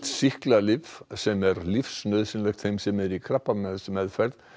sýklalyf sem er lífsnauðsynlegt þeim sem eru í krabbameinsmeðferð